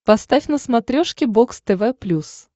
поставь на смотрешке бокс тв плюс